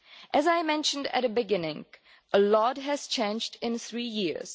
As I mentioned at the beginning, a lot has changed in three years.